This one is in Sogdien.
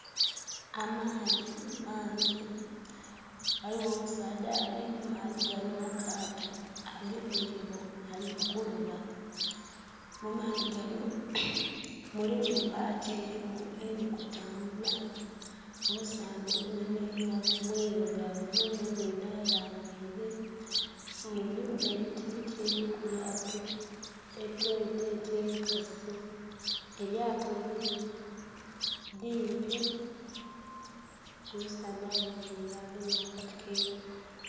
Amaadhi mangi ghaligho omusaadha ali mu maadhi ganho mu kaato agemye eirobo ali mu kuloba. Mu maadhi ganho mulimu embati erimu eri mu kutambula, omusaadha onho yenayena mwirugavu nhe engoye dha yambaire nga erimu abiti biti ebili ku lyato byete nti nkasi, elyato limpi omusaadha ayemereire agemye akati keirobo